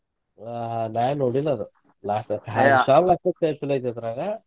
ಹಾ ನಾ ನೋಡಿಲ್ಲ ಅದ್ ಅದ್ರಾಗ.